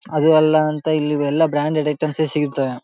ಅದು ಅಲ್ಲಾ ಅಂತ ಇಲ್ಲಿ ಇವೆಲ್ಲಾ ಬ್ರಾಂಡ್ ಐಟಮ್ಸ್ ಸಿಗತ್ತೆ.